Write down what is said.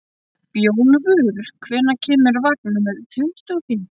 Bjólfur, hvenær kemur vagn númer tuttugu og fimm?